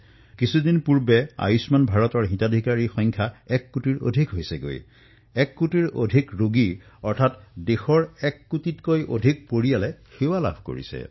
কিছুদিন পূৰ্বে আয়ুষ্মান ভাৰতৰ হিতাধিকাৰীৰ সংখ্যাই এক কোটিৰ সীমা অতিক্ৰম কৰিছে